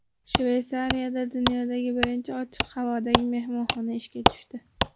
Shveysariyada dunyodagi birinchi ochiq havodagi mehmonxona ishga tushdi.